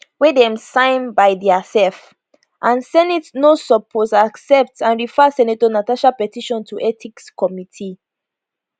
wey dem sign by diasef and senate no suppose accept and refer senator natasha petition to ethics committee